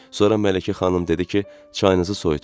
Sonra Mələkə xanım dedi ki, çayınızı soyutmayın.